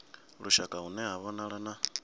lushaka hune ha vhonala na